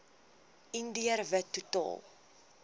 indiër wit totaal